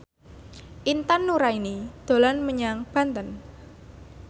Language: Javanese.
Intan Nuraini dolan menyang Banten